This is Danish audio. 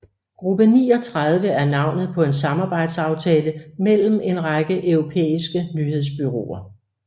Gruppe 39 er navnet på en samarbejdsaftale mellem en række europæiske nyhedsbureauer